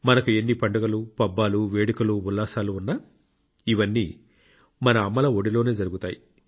మనకు ఎన్ని పండుగలు పబ్బాలు వేడుకలు ఉల్లాసాలు ఉన్నా ఇవన్నీ మన అమ్మల ఒడిలోనే జరుగుతాయి